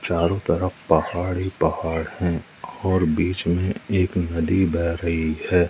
चारों तरफ पहाड़ ही पहाड़ हैं और बीच में एक नदी बह रही है।